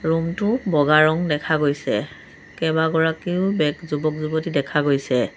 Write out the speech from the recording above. Room টো বগা ৰং দেখা গৈছে কেইবাগৰাকীও বেক যুৱক-যুৱতী দেখা গৈছে।